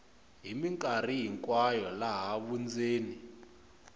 hi mikarhi hinkwayo laha vundzeni